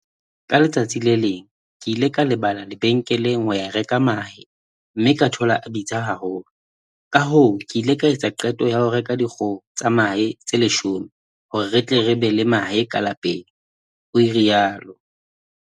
"Ka letsatsi le leng ke ile ka leba lebenkeleng ho ya reka mahe mme ka thola a bitsa haholo, kahoo ke ile ka etsa qeto ya ho reka dikgoho tsa mahe tse 10 hore re tle re be le mahe ka lapeng," o rialo.